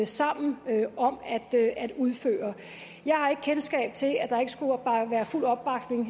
sammen om at udføre jeg har ikke kendskab til at der ikke skulle være fuld opbakning